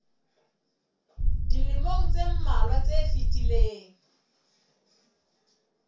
dilemong tse mmalwa tse fetileng